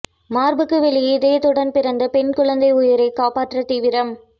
மார்புக்கு வெளியே இதயத்துடன் பிறந்த பெண் குழந்தைஉயிரை காப்பாற்ற தீவிரம்